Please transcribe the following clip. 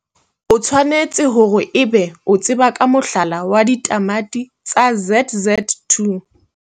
O tshwanetse hore ebe o tseba ka mohlala wa ditamati tsa ZZ2.